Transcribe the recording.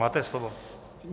Máte slovo.